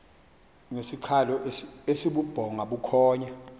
ngesikhalo esibubhonga bukhonya